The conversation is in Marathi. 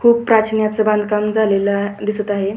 खूप प्राचीन अस बाधकाम झालेलं दिसत आहे.